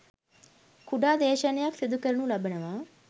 කුඩා දේශනයක් සිදු කරනු ලබනවා